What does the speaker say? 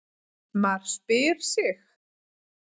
MAR SPYR SIG!